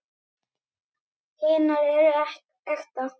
Hinar eru ekta.